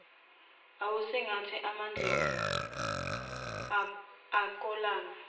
awusingethe amandlovu akolanga